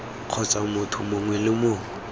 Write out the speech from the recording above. kgotsa motho mongwe le mongwe